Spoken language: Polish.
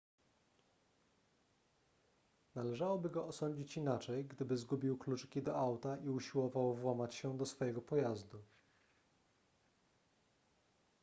należałoby go osądzić inaczej gdyby zgubił kluczyki do auta i usiłował włamać się do swojego pojazdu